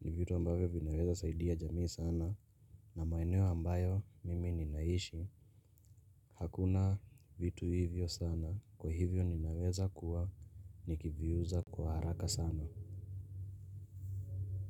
Ni vitu ambavyo vinaweza saidia jamii sana. Na maeneo ambayo mimi ninaishi hakuna vitu hivyo sana kwa hivyo ninaweza kuwa nikiviuza kwa haraka sana.